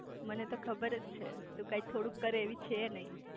મને તો ખબરજ છે તું કાઈ થોડુંક કરે એવી છે નઈ